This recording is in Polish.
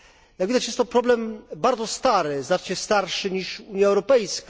Jak widać jest to problem bardzo stary, znacznie starszych niż Unia Europejska.